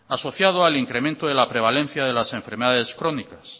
asociado al incremento de la prevalencia de las enfermedades crónicas